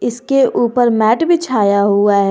इसके ऊपर मैट बिछाया हुआ है।